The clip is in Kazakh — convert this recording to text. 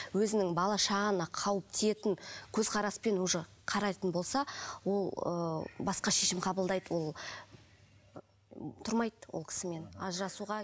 өзінің балаға шағаңа қауіп тиетін көзқараспен уже қарайтын болса ол ыыы басқа шешім қабылдайды ол тұрмайды ол кісімен ажырасуға